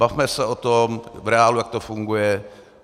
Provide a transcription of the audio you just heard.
Bavme se o tom v reálu, jak to funguje.